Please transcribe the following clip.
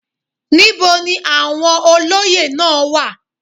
Níbo ni àwọn olóyè náà wà?